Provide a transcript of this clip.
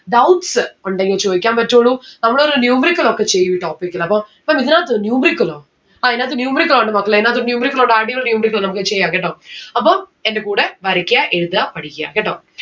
doubts ഉണ്ടെങ്കിൽ ചോയ്ക്കാൻ പറ്റുള്ളൂ, നമ്മളൊരു numerical ഒക്കെ ചെയ്യും ഈ topic ൽ അപ്പോ അപ്പൊ ഇതിനകത്ത് numerical ഓ? ആ ഇതിനാത്ത്‌ numerical ഉണ്ട് മക്കളെ ഇതിനാത്ത്‌ numerical ഉണ്ട് നമ്മുക്ക് ചെയ്യാം കേട്ടോ അപ്പൊ എന്റെ കൂടെ വരക്ക എഴുതാ പടിക്ക കേട്ടോ